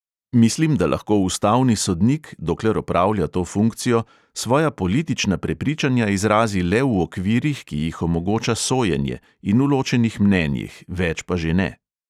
Mislim, da lahko ustavni sodnik, dokler opravlja to funkcijo, svoja politična prepričanja izrazi le v okvirih, ki jih omogoča sojenje, in v ločenih mnenjih, več pa že ne.